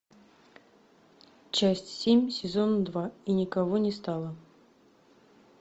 часть семь сезон два и никого не стало